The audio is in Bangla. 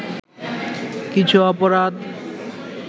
কিছু অপরাধ